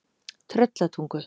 Tröllatungu